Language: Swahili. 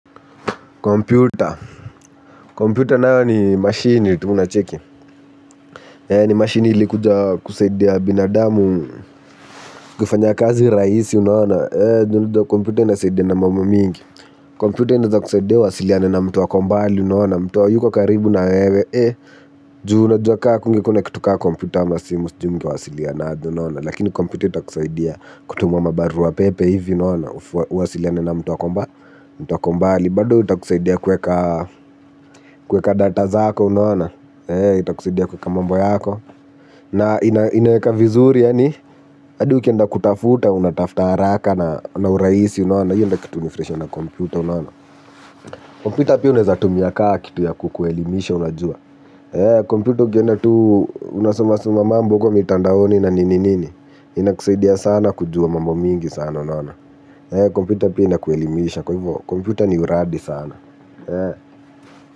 Kompyuta. Kompyuta nayo ni mashini tu unacheki. Ni mashini ilikuja kusaidia binadamu kufanya kazi rahisi unaoana. Juu unaona kompyuta inasaidiana mambo mingi. Kompyuta inaweza kusaidia uwasiliane na mtu ako mbali unaona. Mtu hayuko karibu na wewe. Juu unajua ka hakungekuwa na kitu ka kompyuta ama simu siju mngewasiliana aje, unaona. Lakini kompyuta itakusaidia kutuma mabarua pepe hivi unaona. Uwasiliane na mtu ako mbali. Bado itakusaidia kuweka data zako unaona. Itakusaidia kuweka mambo yako. Na inaweka vizuri yaani. Hadi ukienda kutafuta unatafuta haraka na urahisi unaona. Hiyo ndio kitu hunifurahisha na kompyuta unaona. Kompyuta pia unaweza tumia ka kitu ya kukuelimisha unajua. Eee, kompyuta ukienda tu unasoma soma mambo hivyo mitandaoni na nini nini. Inakusaidia sana kujua mambo mingi sana unaona. Eee, kompyuta pia inakuelimisha kwa hivyo kompyuta ni uradi sana. Eee.